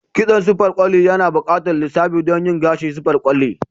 kitson siffar kwali yana buƙatar lissafi don yin gashi siffar kwali.